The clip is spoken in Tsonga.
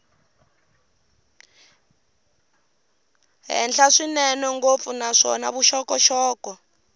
henhla swinene ngopfu naswona vuxokoxoko